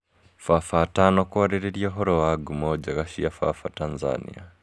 Baba atano kũarĩrĩria ũhoro wa ngumo njega cia baba Tanzania.